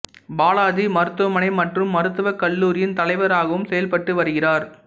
பாலாஜி மருத்துவமனை மற்றும் மருத்துவக் கல்லூரியின் தலைவராகவும் செயல்பட்டு வருகிறார்